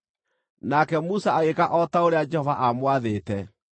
Nake Musa agĩĩka o ta ũrĩa Jehova aamwathĩte.